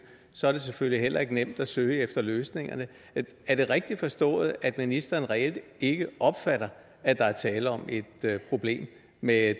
så er det selvfølgelig heller ikke nemt at søge efter løsningerne er det rigtigt forstået at ministeren reelt ikke opfatter at der er tale om et problem med